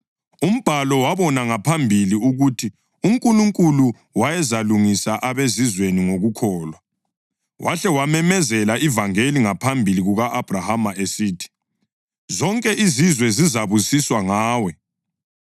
Umbhalo wabona ngaphambili ukuthi uNkulunkulu wayezalungisa abeZizweni ngokukholwa, wahle wamemezela ivangeli ngaphambili ku-Abhrahama esithi: “Zonke izizwe zizabusiswa ngawe.” + 3.8 UGenesisi 12.3; 18.18; 22.18